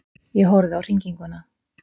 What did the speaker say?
Ég horfði á hringinguna.